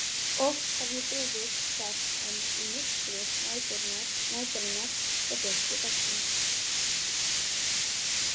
Oft hef ég beðið þess í myrkri næturinnar og birtu dagsins.